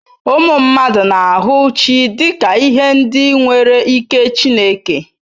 Ụmụ mmadụ na-ahụ chi dị ka ihe ndị nwere ike Chineke.